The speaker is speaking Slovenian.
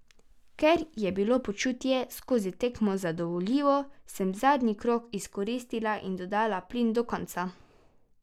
Ker je bilo počutje skozi tekmo zadovoljivo, sem zadnji krog izkoristila in dodala plin do konca.